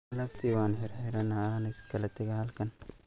Alabtey wan xirxirana wana isklataqax halkan.